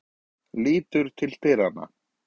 Lítur til dyranna.